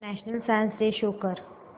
national science day show कर